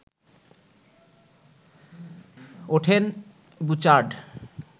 ওঠেন বুচার্ড